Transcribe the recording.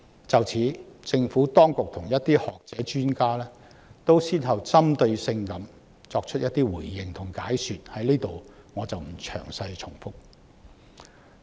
就此，政府當局及一些學者專家先後作出了針對性的回應和解說，我在此不詳細重複。